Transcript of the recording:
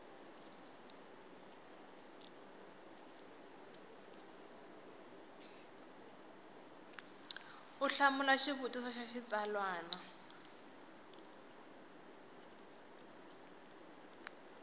u hlamula xivutiso xa xitsalwana